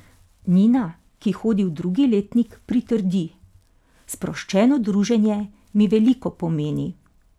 Nina, ki hodi v drugi letnik pritrdi: "Sproščeno druženje mi veliko pomeni.